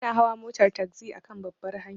Bana hawa motar tagzi akan babbar hanya.